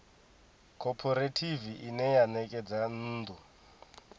khophorethivi ine ya ṋekedza nnḓu